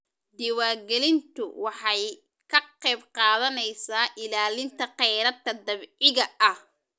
Diiwaangelintu waxay ka qayb qaadanaysaa ilaalinta khayraadka dabiiciga ah.